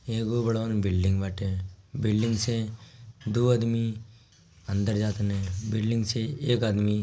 एगो godown building बाटे building से दो आदमी अंदर जातानी बिल्डिंग से एक आदमी--